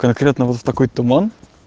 конкретно вот в такой туман